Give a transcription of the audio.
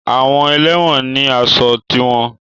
Àwọn ẹlẹ́wọ̀n ni aṣọ tiwọn